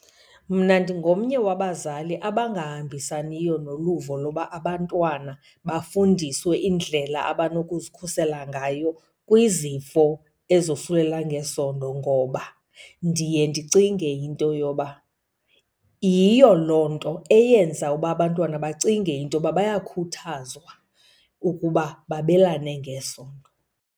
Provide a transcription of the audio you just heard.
Mna ndingomnye wabazali abangahambisaniyo noluvo loba abantwana bafundiswe indlela abanokuzikhusela ngayo kwizifo ezosulela ngesondo. Ngoba ndiye ndicinge into yoba yiyo loo nto eyenza uba abantwana bacinge into yoba bayakhuthazwa ukuba babelane ngesondo.